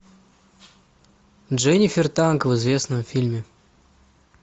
дженифер танк в известном фильме